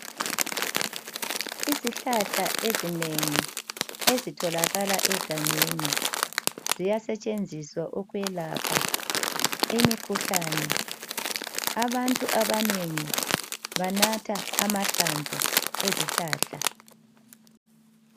Izihlahla ezinengi ezitholakala egangeni ziyasetshenziswa ukwelapha imikhuhlane. Abantu abanengi banatha amahlamvu ezihlahla.